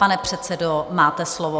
Pane předsedo, máte slovo.